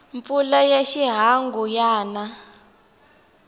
mpfula ya xihangu ya na